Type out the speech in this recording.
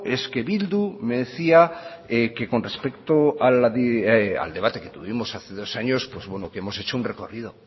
es que bildu me decía que con respecto al debate que tuvimos hace dos años pues bueno que hemos hecho un recorrido